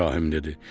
İbrahim dedi: